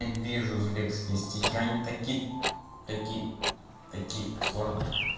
вижу узбекские стихи они такие такие такие сложные